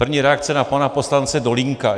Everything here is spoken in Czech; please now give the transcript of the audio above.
První reakce na pana poslance Dolínka.